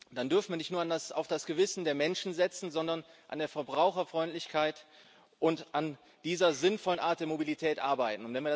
Dann dürfen wir nicht nur auf das Gewissen der Menschen setzen, sondern an der Verbraucherfreundlichkeit und an dieser sinnvollen Art der Mobilität arbeiten.